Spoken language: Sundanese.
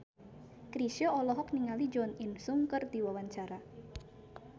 Chrisye olohok ningali Jo In Sung keur diwawancara